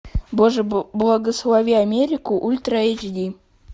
боже благослови америку ультра эйч ди